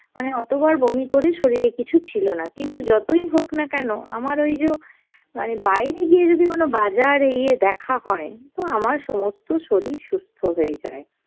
মানে অত বার বমি করে শরীরে কিছু ছিল না, কিন্তু যতই হোক না কেন আমার ওইযো মানে বাইরে গিয়ে যদি কোনো বাজার এ ইয়ে দেখা হয় তো আমার সমস্ত শরীর সুস্থ হয়ে যায়,